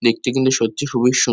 দেখতে কিন্তু সত্যি খুবিই সু--